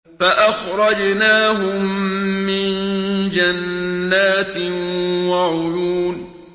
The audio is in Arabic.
فَأَخْرَجْنَاهُم مِّن جَنَّاتٍ وَعُيُونٍ